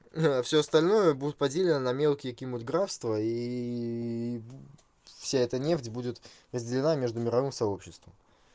а всё остальное будет поделено на мелкие какие нибудь графства и вся эта нефть будет разделена между мировым сообществом